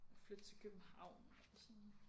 Flytte til København og sådan